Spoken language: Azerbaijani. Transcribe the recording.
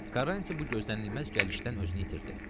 Quaranti bu gözlənilməz gəlişdən özünü itirdi.